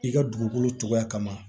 I ka dugukolo cogoya kama